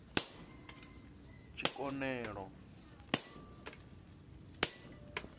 tshikonelo